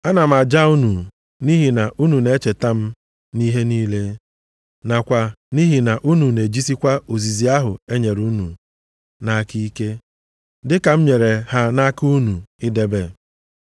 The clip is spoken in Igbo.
Ana m aja unu nʼihi na unu na-echeta m nʼihi niile, nakwa nʼihi na unu na-ejisikwa ozizi ahụ enyere unu nʼaka ike, dịka m nyere ha nʼaka unu idebe.